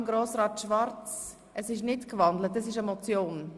Ich frage nun noch Grossrat Schwarz: Bleibt Ihr Vorstoss eine Motion?